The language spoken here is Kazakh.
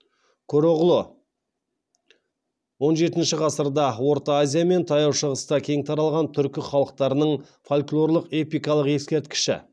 көроғлы он жетінші ғасырда орта азия мен таяу шығыста кең таралған түркі халықтарының фольклорлық эпикалық ескерткіші